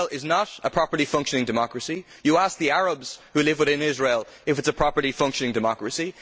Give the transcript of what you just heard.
Israel is not a properly functioning democracy you ask the Arabs who live within Israel if it is a properly functioning democracy.